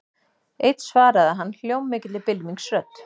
Einn svaraði hann hljómmikilli bylmingsrödd.